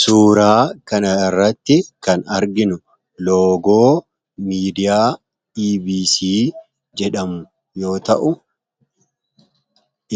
suuraa kana irratti kan arginu loogoo miidiyaa ebc jedhamu yoo ta'u